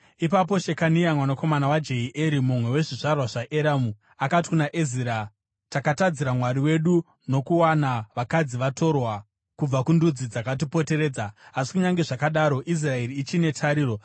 Ipapo Shekania mwanakomana waJehieri, mumwe wezvizvarwa zvaEramu, akati kuna Ezira, “Takatadzira Mwari wedu nokuwana vakadzi vatorwa kubva kundudzi dzakatipoteredza. Asi kunyange zvakadaro, Israeri ichine tariro.